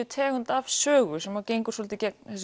tegund af sögu sem gengur svolítið gegn